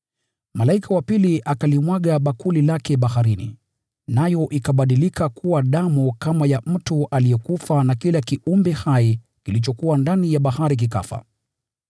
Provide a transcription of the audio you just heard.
Malaika wa pili akalimwaga bakuli lake baharini, nayo ikabadilika kuwa damu kama ya mtu aliyekufa na kila kiumbe hai kilichokuwa ndani ya bahari kikafa.